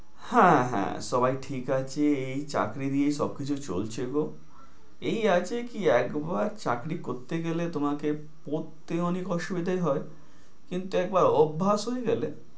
হ্যাঁ হ্যাঁ, সবাই ঠিক আছে। এই চাকরি দিয়েই সবকিছু চলছে গো। এই আরকি কি একবার চাকরি করতে গেলে, তোমাকে পড়তে অনেক অসুবিধায় হয়। কিন্তু একবার অভ্যাস হয়ে গেলে